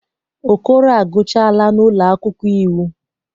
Okoro agụchaala n'ụlọ akwụkwọ iwu.